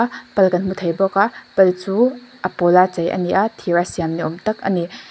pal kan hmu thei bawk a pal chu a pawla chei a ni a thir a siam ni awm tak a ni.